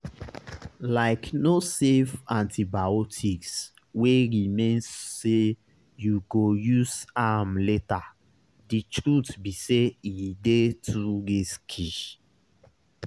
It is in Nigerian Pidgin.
likeno save antibiotics wey remain say you go use am laterthe truth be saye dey too risky.